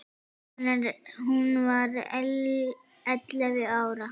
Hún var ellefu ára.